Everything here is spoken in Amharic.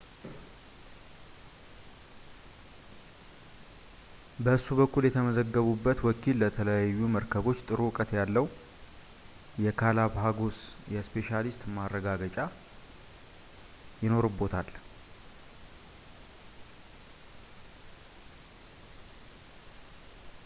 በእሱ በኩል የተመዘገቡበት ወኪል ስለተለያዩ መርከቦች ጥሩ እውቀት ያለው የgalapagos እስፔሻሊስት መሆኑን ማረጋገጥ ይኖርብዎታል